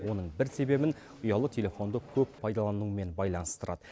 оның бір себебін ұялы телефонды көп пайдалануымен байланыстырады